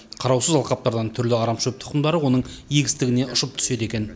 қараусыз алқаптардан түрлі арамшөп тұқымдары оның егістігіне ұшып түседі екен